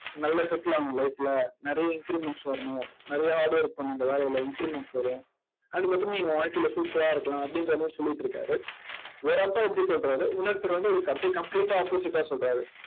நல்லா settle ஆகணும் life ல. நிறைய increments வரணும். நிறைய hard work பண்ணணும் இந்த வேலையில increments வரும் அதுக்கப்புறம் நீ உன் வாழ்க்கையில super ஆ இருக்கலாம் அப்படின்ற மாதிரி சொல்லிட்டு இருக்காரு. ஒரு அப்பா இப்படி சொல்றாரு இன்னொருத்தர் வந்து, அவருக்கு அப்படியே complete ஆ opposite ஆ சொல்றாரு.